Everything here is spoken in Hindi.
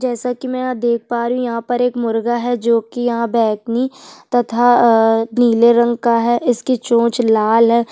जैसे की मै यहाँ देख पा रही हूँ यहाँ पर एक मुर्ग़ा है जो की यहाँ बैंगनी तथा अ नीला रंग का है इसकी चोंच लाल है।